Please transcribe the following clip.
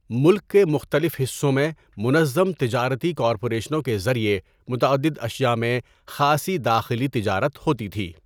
ملک کے مختلف حصوں میں منظم تجارتی کارپوریشنوں کے ذریعہ متعدد اشیا میں خاصی داخلی تجارت ہوتی تھی۔